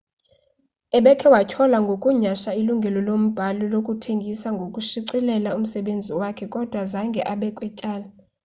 ebekhe watyholwa ngokunyhasha ilungelo lombhali lokuthengisa nokushicilela umsebenzi wakhe kodwa zange abekwe tyala